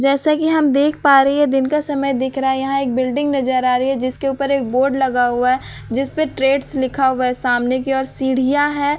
जैसा कि हम देख पा रहे है ये दिन का समय दिख रहा है यहाँ एक बिल्डिंग नजर आ रही है जिसके ऊपर एक बोर्ड लगा हुआ है जिसपे ट्रेड्स लिखा हुआ है सामने की ओर सीढ़ियाँ हैं।